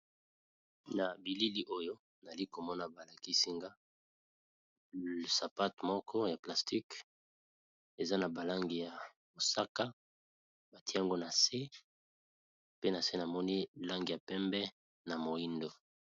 Na bilili oyo nali komona balakisinga sapate moko ya plastice eza na balangi ya mosaka batiango na se pe na se namoni lange ya pembe na moindo.